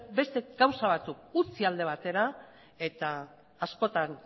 beste gauza batzuk utzi alde batera eta askotan